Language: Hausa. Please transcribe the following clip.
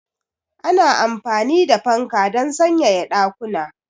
Ana amfani da fanka don sanyaya ɗakuna.